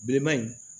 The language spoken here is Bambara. Bilenman in